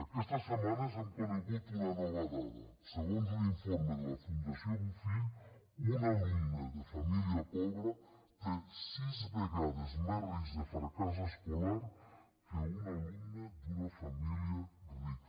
aquestes setmanes hem conegut una nova dada segons un informe de la fundació bofill un alumne de família pobra té sis vegades més risc de fracàs escolar que un alumne d’una família rica